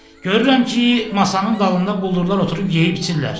Görürəm ki, masanın dalında quldurlar oturub yeyib içirlər.